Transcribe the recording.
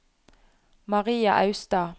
Maria Austad